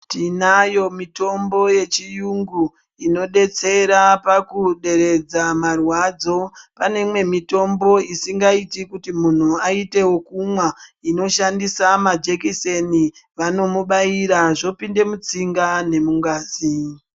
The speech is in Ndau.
Tinayo mitombo yechiyungu inodetsera pakuderedza marwadzo. Pane imwe mitombo isingaiti kuti munhu aite wokumwa, inoshandisa majekiseni. Vanomubaira zvopinde mutsinga nemungazi.